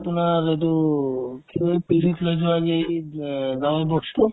আপোনাৰ এইটো কি কই পিঠিত লৈ যোৱা যে এই ~ এইবিলাক ডাঙৰ box তো